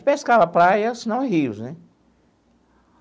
Pescava praia, senão rios, né?